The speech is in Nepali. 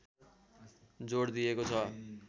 जोड दिइएको छ